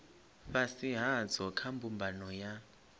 fhasi hadzo kha mbumbano ya